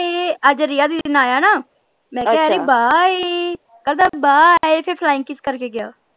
ਅੱਜ ਰਿਆ ਦੀਦੀ ਨਾਲ ਆਇਆ ਨਾ ਮੈਂ ਕਿਹਾ ਅਰੇ bye ਕਹਿੰਦਾ bye ਫੇਰ flying kiss ਕਰਕੇ ਗਿਆ